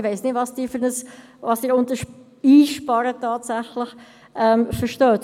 Ich weiss nicht, was Sie unter einsparen verstehen.